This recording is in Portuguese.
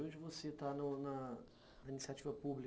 Hoje você está na iniciativa pública?